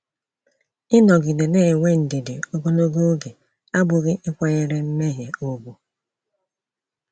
Ịnọgide na-enwe ndidi ogologo oge abụghị ịkwanyere mmehie ùgwù.